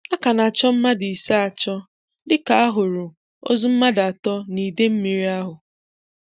A ka na-achọ mmadụ ise achọ dịka a hụrụ ozu mmadụ atọ n'Idemmiri ahụ